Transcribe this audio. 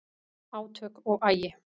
Átök og agi